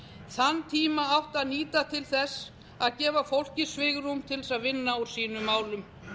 þann tíma átti að nýta til þess að gefa fólki svigrúm til að vinna úr sínum málum